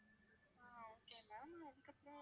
ஆஹ் okay ma'am அதுக்கப்பறம்